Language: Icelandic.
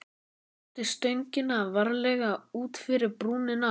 Látið stöngina varlega út fyrir brúnina.